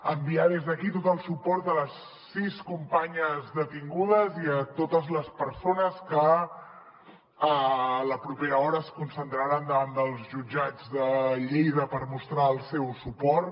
enviar des d’aquí tot el suport a les sis companyes detingudes i a totes les persones que a la propera hora es concentraran davant dels jutjats de lleida per mostrar el seu suport